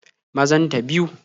Mazan ta biyu